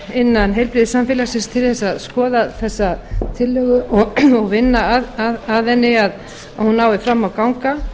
innan heilbrigðissamfélagsins til þess að skoða þessa tillögu og vinna að henni að hún nái fram að ganga